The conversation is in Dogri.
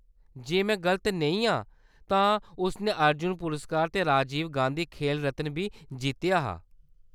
जे में गल्त नेईं आं तां उस ने अर्जुन पुरस्कार ते राजीव गांधी खेल रत्न बी जित्तेआ हा।